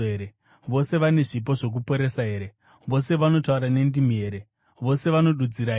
Vose vane zvipo zvokuporesa here? Vose vanotaura nendimi here? Vose vanodudzira here?